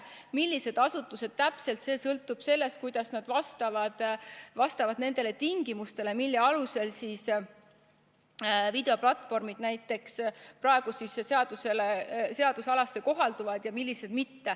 Millised asutused täpselt hakkavad kuuluma, see sõltub sellest, kuidas nad vastavad nendele tingimustele, mille alusel näiteks videoplatvormid praegu kehtiva seaduse kohaldamisalasse kuuluvad.